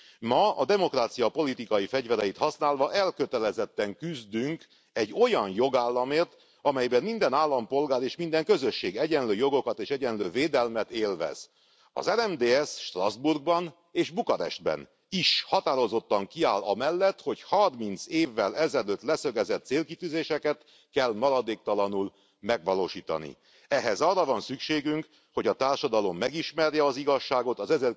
Ma a demokrácia politikai fegyvereit használva elkötelezetten küzdünk egy olyan jogállamért, amelyben minden állampolgár és minden közösség egyenlő jogokat és egyenlő védelmet élvez. Az RMDSZ Strasbourgban és Bukarestben is határozottan kiáll amellett, hogy a 30 évvel ezelőtt leszögezett célkitűzéseket kell maradéktalanul megvalósítani. Ehhez arra van szükségünk, hogy a társadalom megismerje az igazságot az